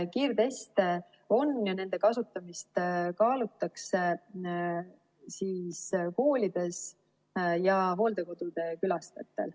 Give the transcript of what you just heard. Kiirteste on ja nende kasutamist kaalutakse koolides ja hooldekodude külastajatel.